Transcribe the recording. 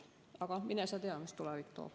Aga mine sa tea, mis tulevik toob.